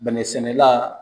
Bɛnɛ sɛnɛla